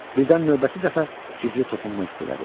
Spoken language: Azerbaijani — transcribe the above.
Birdən növbəti dəfə gizli toxunma hiss elədi.